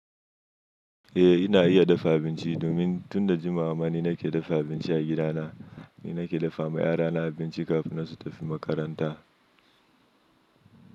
Eh ina iya dafa abinci domin tun da jimawa ma ni nake dafa abinci a gidana. Ni nake dafa ma yara na abinci kafin su tafi makaranta.